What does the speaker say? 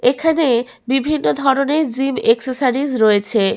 এখানে বিভিন্ন ধরনের জিম একসেসরিজ রয়েছে।